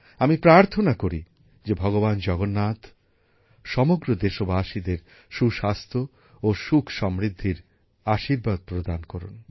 আমি প্রার্থনা করি যে ভগবান জগন্নাথ সমগ্র দেশবাসীদের সুস্বাস্থ্য ও সুখসমৃদ্ধির আশীর্বাদ প্রদান করুন